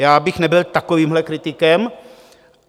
Já bych nebyl takovýmhle kritikem.